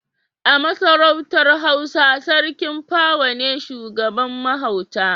A Masarautar Hausa Sarki pawa ne shugaban mahauta.